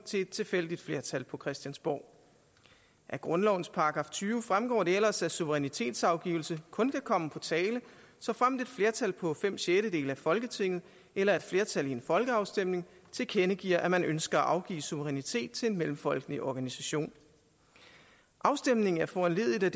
til et tilfældigt flertal på christiansborg af grundlovens § tyve fremgår det ellers at suverænitetsafgivelse kun kan komme på tale såfremt et flertal på fem sjettedele af folketinget eller et flertal i en folkeafstemning tilkendegiver at man ønsker at afgive suverænitet til en mellemfolkelig organisation afstemningen er foranlediget af